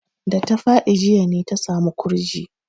Da ta faɗi jiya ne ta samu ƙurji.